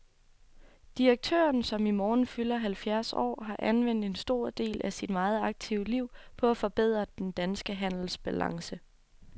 Direktøren, som i morgen fylder halvfjerds år, har anvendt en stor del af sit meget aktive liv på at forbedre den danske handelsbalance.